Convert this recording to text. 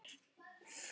Er hann þó ýmsu vanur.